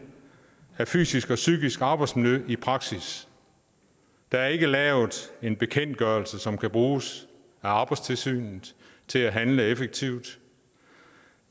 af fysisk og psykisk arbejdsmiljø i praksis der er ikke lavet en bekendtgørelse som kan bruges af arbejdstilsynet til at handle effektivt